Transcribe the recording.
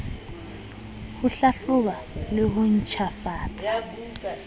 ho hlahloba le ho ntjhafatsa